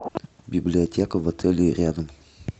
библиотека в отеле рядом